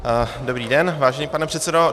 Dobrý den, vážený pane předsedo.